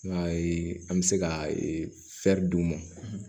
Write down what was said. I y'a ye an bɛ se ka d'u ma